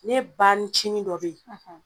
Ne banicinin dɔ be ye